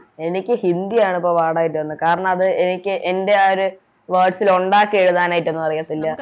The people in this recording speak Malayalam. എനിക്ക് ഹിന്ദിയാണ് ഇപ്പൊ പാടായിട്ട് തോന്നണേ കാരണം അത് എനിക്ക് എൻറെ ആ ഒര് Words ല് ഒണ്ടാക്കി എഴുതാനായിട്ടോന്നും അറിയത്തില്ല